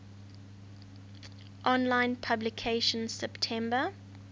online publication september